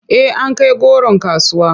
Eh an kai goron kasuwa.